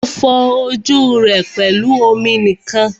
O fọ ojú rẹ pẹlú omi nìkan.